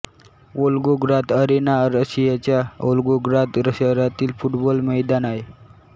Volgograd arena रशियाच्या Volgograd शहरातील football मैदान आहे